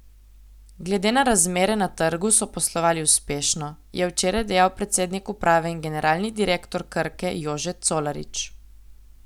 Glede na razmere na trgu so poslovali uspešno, je včeraj dejal predsednik uprave in generalni direktor Krke Jože Colarič.